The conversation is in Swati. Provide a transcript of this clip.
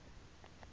yimphi